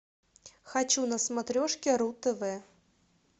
хочу на смотрешке ру тв